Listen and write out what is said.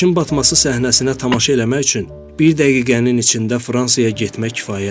Günəşin batması səhnəsinə tamaşa eləmək üçün bir dəqiqənin içində Fransaya getmək kifayətdir.